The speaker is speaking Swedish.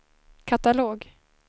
katalog